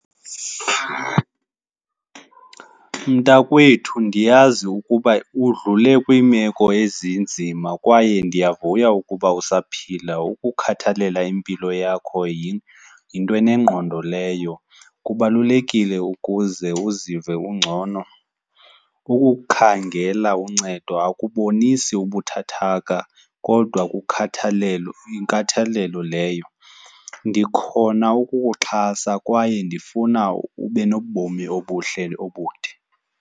Mntakwethu, ndiyazi ukuba udlule kwiimeko ezinzima kwaye ndiyavuya ukuba usaphila. Ukukhathalela impilo yakho yinto enengqondo leyo, kubalulekile ukuze uzive ungcono. Ukukhangela uncedo akubonisi ubuthathaka kodwa kukhathalelo, yinkathalelo leyo. Ndikhona ukukuxhasa kwaye ndifuna ube nobomi obuhle, obude.